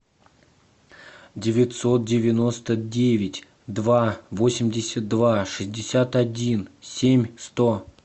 девятьсот девяносто девять два восемьдесят два шестьдесят один семь сто